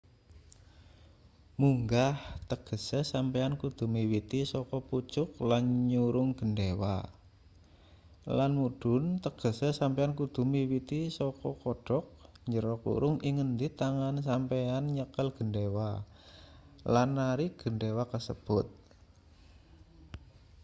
munggah tegese sampeyan kudu miwiti saka pucuk lan nyurung gendhewa lan mudhun tegese sampeyan kudu miwiti saka kodhok ing ngendi tangan sampeyan nyekel gendhewa lan narik gendhewa kasebut